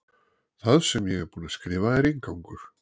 Það sem ég er búin að skrifa er inngangur.